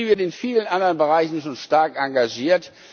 Die Industrie wird in vielen anderen Bereichen schon stark engagiert.